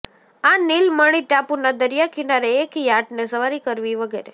આ નીલમણિ ટાપુના દરિયાકિનારે એક યાટને સવારી કરવી વગેરે